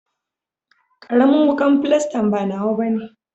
Karamin wukan filastan ba nawa bane.